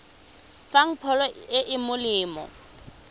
fang pholo e e molemo